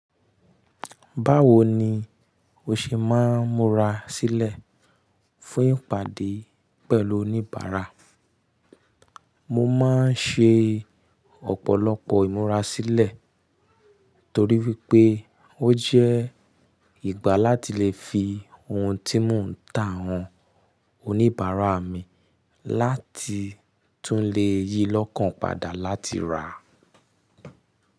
Báwo ni o ṣe máa ń múra sílẹ̀ fún ìpàdé pẹ̀lú oníbàárà? Mo máa ń ṣe ọ̀pọ̀lọpọ̀ ìmúrasílẹ̀ torí wípé ó jẹ́ ìgbà láti le fi ohun tí mò ń tà hàn oníbàárà mi láti tún lè yí lọ́kàn padà láti rà.